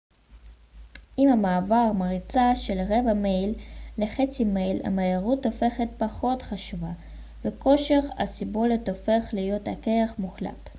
עם המעבר מריצה של רבע מייל לחצי מייל המהירות הופכת פחות חשובה וכושר הסיבולת הופך להיות הכרח מוחלט